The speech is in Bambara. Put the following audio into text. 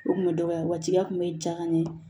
O kun bɛ dɔgɔya wajibiya kun bɛ ja ka ɲɛ